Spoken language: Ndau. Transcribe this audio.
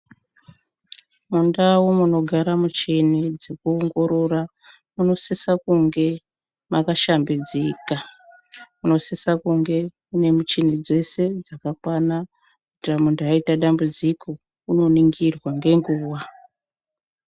Mundau munogara muchini dzekuongorora munosisa kunge makashambidzika munosisa kunge mune muchini dzese dzakakwana kuitira muntu aita dambudziko unoningirwa ngenguwa